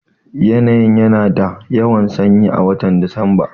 Yanayi ya na da yawan sanyi a watan Disamba